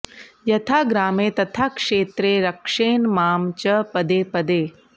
यथा ग्रामे तथा क्षेत्रे रक्षेन्मां च पदे पदे